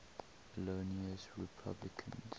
illinois republicans